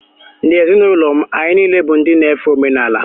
N’ezinụlọ m, anyị niile bụ ndị na-efe omenala